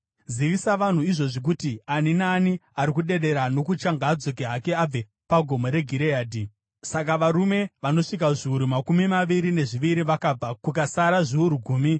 zivisa vanhu izvozvi kuti, ‘Ani naani ari kudedera nokutya ngaadzoke hake abve paGomo reGireadhi.’ ” Saka varume vanosvika zviuru makumi maviri nezviviri vakabva, kukasara zviuru gumi.